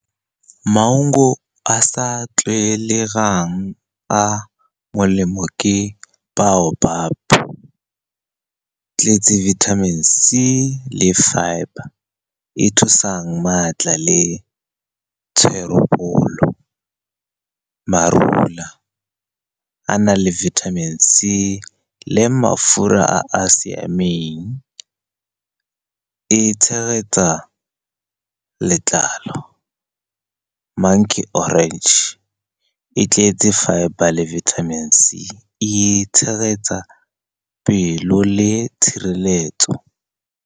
Maungo a sa tlwaelegang a molemo ke baopap, e tletse vitamin C le fibre e e thusang maatla le tsherebolo. Marula a na le vitamin C le mafura a a siameng, e tshegetsa letlalo. Monkey orange e tletse fibre le vitamin C, e tshegetsa pelo le tshireletso.